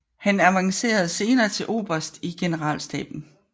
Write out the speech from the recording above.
Han avancerede senere til oberst i generalstaben